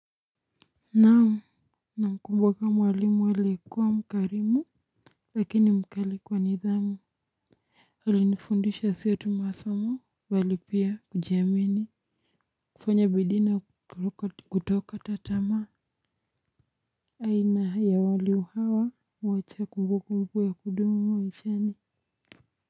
Nam namkumbuka mwalimu aliyekuwa mkarimu lakini mkali kwa nidhamu hali nifundisha siotu masomo bali pia kujiamini kufanya bidii na kutokata tamaa aina ya waliu hawa mwacha kumbu kumbu ya kudumu maishani.